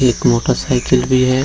एक motorcycle भी है।